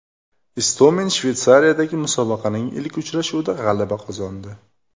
Istomin Shveysariyadagi musobaqaning ilk uchrashuvida g‘alaba qozondi .